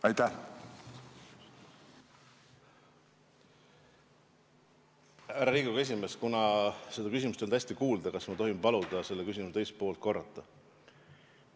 Härra Riigikogu esimees, kuna küsimust ei olnud hästi kuulda, kas ma tohin paluda selle küsimuse teist poolt korrata?